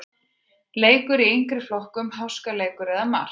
Leikur í yngri flokkunum-Háskaleikur eða mark?